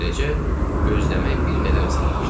Beləcə, gözləmək bir qədər asanlaşdı.